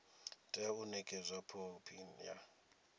tea u nekedzwa khophi ya